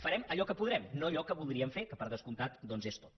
farem allò que podrem no allò que voldríem fer que per descomptat és tot